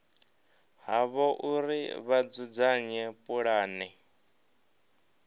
havho uri vha dzudzanye pulane